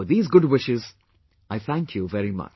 With these good wishes, I thank you very much